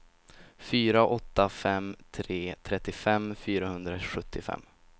fyra åtta fem tre trettiofem fyrahundrasjuttiofem